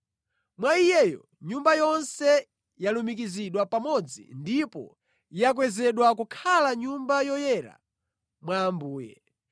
Mwa Iyeyo, nyumba yonse yalumikizidwa pamodzi ndipo yakwezedwa kukhala Nyumba yoyera mwa Ambuye.